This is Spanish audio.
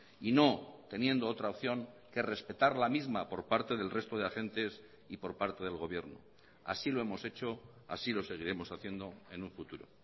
y no teniendo otra opción que respetar la misma por parte del resto de agentes y por parte del gobierno así lo hemos hecho así lo seguiremos haciendo en un futuro